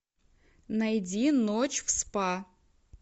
найди ночь в спа